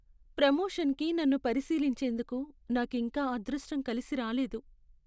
ప్రమోషన్కి నన్ను పరిశీలించేందుకు నాకింకా అదృష్టం కలిసి రాలేదు.